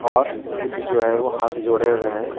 और बुद्ध जो है वो हाथ जोड़े हुए हैं।